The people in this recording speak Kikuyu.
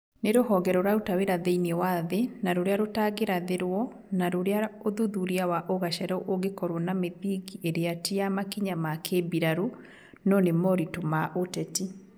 Ni rũhonge rũraruta wĩra thĩiniĩ wa thĩ na rũrĩa rũtangĩrathĩrwo na rũrĩa ũthuthuria wa ũgacerũ ũngĩkorwo na mĩthingi ĩrĩa ti ya makinya ma kĩmbirarũ, no nĩ moritũ wa ũteti